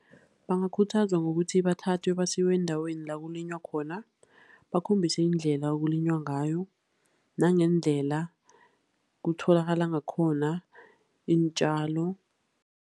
Bangakhuthazwa ngokuthi bathathwe basiwe eendaweni la kulinywa khona, bakhombiswe indlela ekulinywa ngayo, nangendlela kutholakala ngakhona iintjalo.